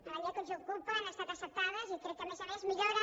en la llei que ens ocupa han estat acceptades i crec que a més a més milloren